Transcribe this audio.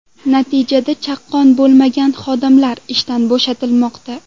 Natijada chaqqon bo‘lmagan xodimlar ishdan bo‘shatilmoqda.